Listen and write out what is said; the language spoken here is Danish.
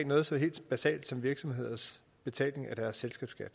noget så helt basalt som virksomheders betaling af deres selskabsskat